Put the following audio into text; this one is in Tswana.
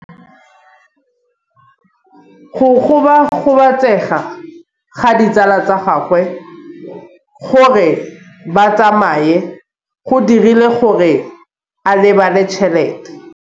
Go gobagobetsa ga ditsala tsa gagwe, gore ba tsamaye go dirile gore a lebale tšhelete.